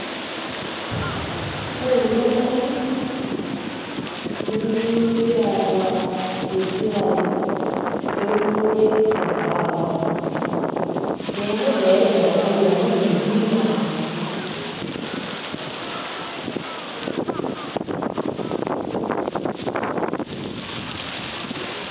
Ore emurua natii nemekiata esiai eunore e kahawa. Neeku meeta enaikunari amu metii naa.